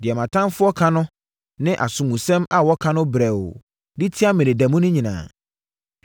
deɛ mʼatamfoɔ ka no sɛ asomusɛm na wɔka no brɛoo de tia me da mu nyinaa.